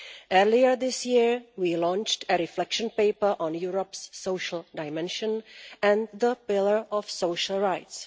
Earlier this year we launched a reflection paper on Europe's social dimension and the pillar of social rights.